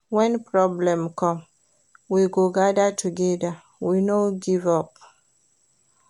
Wen problem come, we go gada togeda, we no give up.